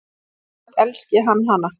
Samt elski hann hana.